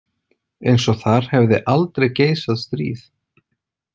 Eins og þar hefði aldrei geisað stríð.